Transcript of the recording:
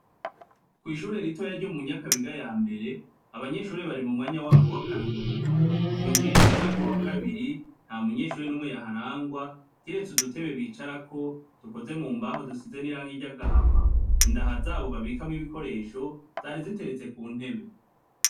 Kwishure ritoya ryo mu Nyakabiga yambere abanyeshure bari mumwanya wabo wakaruhuko twinjiriye mu mwaka wakabiri ntamunyeshure numwe yaharangwa kiretse udutebe bicarako dukozwe mumbaho dusize n'irangi ryagahama indaha zabo babikamwo ibikoresho zari ziteretse kuntebe.